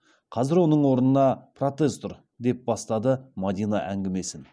қазір оның орнына протез тұр деп бастады мадина әңгімесін